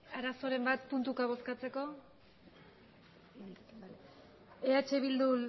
arazoren bat puntuka bozkatzeko eh bildu